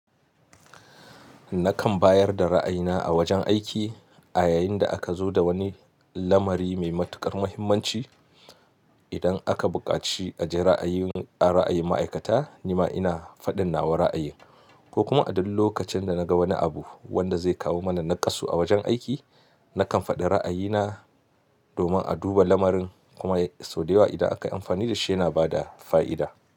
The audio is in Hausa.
Nakan bayar da ra'ayina a wajen aiki a yayin da aka zo da wani lamari mai matuƙar muhimmanci. Idan aka buƙaci a je ra'ayin ma'aikata, ni ma ina faɗin nawa ra'ayi, ko kuma a duk lokacin da na ga wani abu wanda zai kawo mana nakasu a wajen aiki, nakan faɗi ra'ayina domin a duba lamarin kuma sau da yawa idan aka yi amfani da shi yana bada fa'ida.